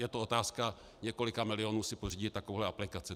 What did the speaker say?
Je to otázka několika milionů si pořídit takovou aplikaci.